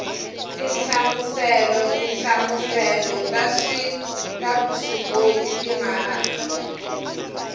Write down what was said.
tinhlamuselo tinhlamuselo ta vuswikoti timaraka